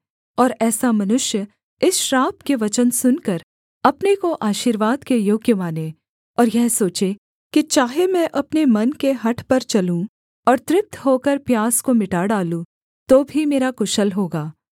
और ऐसा मनुष्य इस श्राप के वचन सुनकर अपने को आशीर्वाद के योग्य माने और यह सोचे कि चाहे मैं अपने मन के हठ पर चलूँ और तृप्त होकर प्यास को मिटा डालूँ तो भी मेरा कुशल होगा